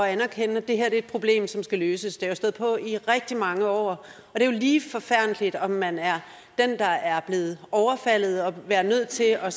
anerkende at det her er et problem som skal løses det har jo stået på i rigtig mange år og det er jo lige forfærdeligt om man er den der er blevet overfaldet og er nødt til at